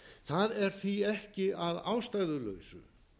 það er því ekki að ástæðulausu